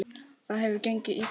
Það hefur gengið illa eftir.